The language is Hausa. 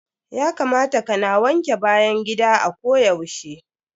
Ya kamata ka na wanke bayan gida a ko yaushe.